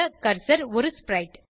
cursor ஒரு ஸ்பிரைட்